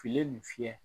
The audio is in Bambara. Filen nin fiyɛ